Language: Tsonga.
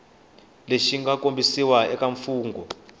lexi mga kombisiwa eka mfungho